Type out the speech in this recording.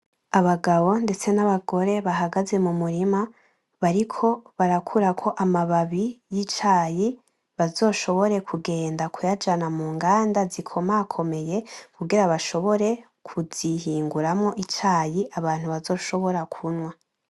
Abagabo ndetse nabagore bahagaze mumurima bariko barakurako amababi y,icayi bazoshobore kugenda kuyajana mu nganda zikomakomeye kugira bashobore kuzihinguramo icayi abantu bazoshobora kunwa.